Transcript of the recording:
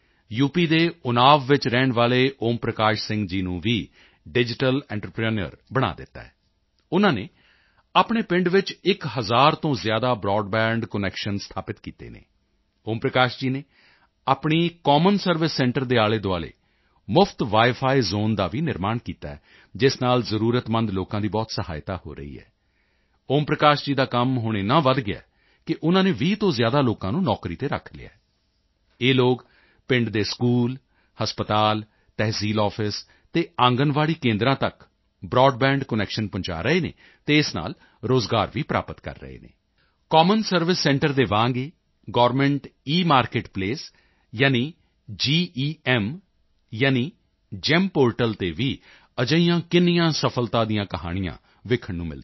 ਦੇ ਉੱਨਾਵ ਵਿੱਚ ਰਹਿਣ ਵਾਲੇ ਓਮ ਪ੍ਰਕਾਸ਼ ਸਿੰਘ ਜੀ ਨੂੰ ਵੀ ਡਿਜੀਟਲ ਐਂਟਰਪ੍ਰੇਨਿਓਰ ਬਣਾ ਦਿੱਤਾ ਹੈ ਉਨ੍ਹਾਂ ਨੇ ਆਪਣੇ ਪਿੰਡ ਵਿੱਚ ਇੱਕ ਹਜ਼ਾਰ ਤੋਂ ਜ਼ਿਆਦਾ ਬਰਾਡਬੈਂਡ ਕਨੈਕਸ਼ਨ ਸਥਾਪਿਤ ਕੀਤੇ ਹਨ ਓਮ ਪ੍ਰਕਾਸ਼ ਜੀ ਨੇ ਆਪਣੀ ਕੋਮਨ ਸਰਵਿਸ ਸੈਂਟਰ ਦੇ ਆਲ਼ੇਦੁਆਲ਼ੇ ਮੁਫਤ ਵਾਈਫਾਈ ਜ਼ੋਨ ਦਾ ਵੀ ਨਿਰਮਾਣ ਕੀਤਾ ਹੈ ਜਿਸ ਨਾਲ ਜ਼ਰੂਰਤਮੰਦ ਲੋਕਾਂ ਦੀ ਬਹੁਤ ਸਹਾਇਤਾ ਹੋ ਰਹੀ ਹੈ ਓਮ ਪ੍ਰਕਾਸ਼ ਜੀ ਦਾ ਕੰਮ ਹੁਣ ਏਨਾ ਵਧ ਗਿਆ ਹੈ ਕਿ ਉਨ੍ਹਾਂ ਨੇ 20 ਤੋਂ ਜ਼ਿਆਦਾ ਲੋਕਾਂ ਨੂੰ ਨੌਕਰੀ ਤੇ ਰੱਖ ਲਿਆ ਹੈ ਇਹ ਲੋਕ ਪਿੰਡਾਂ ਦੇ ਸਕੂਲ ਹਸਪਤਾਲ ਤਹਿਸੀਲ ਆਫਿਸ ਅਤੇ ਆਂਗਣਵਾੜੀ ਕੇਂਦਰਾਂ ਤੱਕ ਬਰਾਡਬੈਂਡ ਕਨੈਕਸ਼ਨ ਪਹੁੰਚਾ ਰਹੇ ਹਨ ਅਤੇ ਇਸ ਨਾਲ ਰੋਜ਼ਗਾਰ ਵੀ ਪ੍ਰਾਪਤ ਕਰ ਰਹੇ ਹਨ ਕੋਮਨ ਸਰਵਿਸ ਸੈਂਟਰ ਦੇ ਵਾਂਗ ਹੀ ਗਵਰਨਮੈਂਟ ਈਮਾਰਕਿਟ ਪਲੇਸ ਯਾਨੀ ਜੈੱਮ ਜੀਈਐਮ ਪੋਰਟਲ ਤੇ ਵੀ ਅਜਿਹੀਆਂ ਕਿੰਨੀਆਂ ਸਫ਼ਲਤਾ ਦੀਆਂ ਕਹਾਣੀਆਂ ਦੇਖਣ ਨੂੰ ਮਿਲਦੀਆਂ ਹਨ